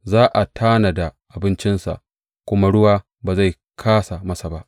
Za a tanada abincinsa, kuma ruwa ba zai kāsa masa ba.